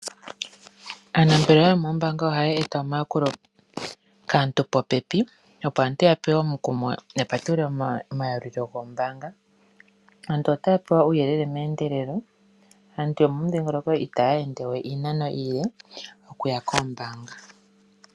Ombaanga yaVenduka ano tutye Ombaanga ndjoka onene moshilongo oshitayi shimwe tashi ashika